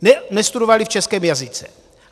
Nestudovali v českém jazyce.